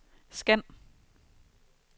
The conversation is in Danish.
scan